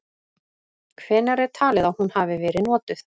Hvenær er talið að hún hafi verið notuð?.